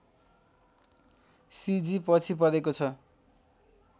सिजी पछि परेको छ